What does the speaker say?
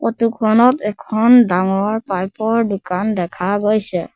Photo খনত এখন ডাঙৰ পাইপ ৰ দোকান দেখা গৈছে।